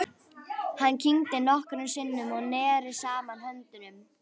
Hann kyngdi nokkrum sinnum og neri saman höndunum.